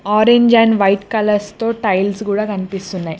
Orange and white colours తో tiles కూడా కనిపిస్తున్నాయి.